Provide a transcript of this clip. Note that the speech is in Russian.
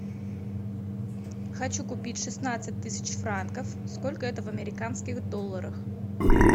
хочу купить шестнадцать тысяч франков сколько это в американских долларах